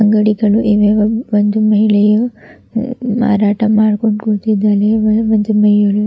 ಅಂಗಡಿಗಳು ಇವೆ ಒಂ ಒಂದು ಮಹಿಳೆಯು ಮ ಮಾರಾಟ ಮಾಡ್ಕೊಂಡು ಕೂತಿದ್ದಾಳೆ ಒಂದು ಮಹಿಳೆಯು--